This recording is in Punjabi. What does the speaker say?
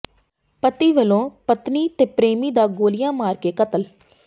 ਪਤੀ ਵੱਲੋਂ ਪਤਨੀ ਤੇ ਪ੍ਰੇਮੀ ਦਾ ਗੋਲੀਆਂ ਮਾਰ ਕੇ ਕਤਲ